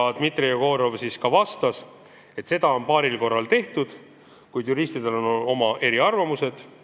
Dmitri Jegorov vastas, et nii on paaril korral tehtud, kuid juristidel on eriarvamused.